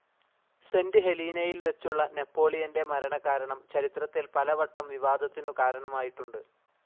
Saint ഹെലീനയിൽ വെച്ചുള്ള നെപ്പോളിയൻ്റെ മരണകാരണം ചരിത്രത്തിൽ പലവട്ടം വിവാദത്തിനു കാരണമായിട്ടുണ്ട്.